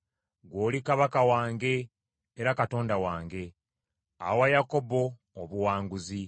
Ggwe oli Kabaka wange, era Katonda wange; awa Yakobo obuwanguzi.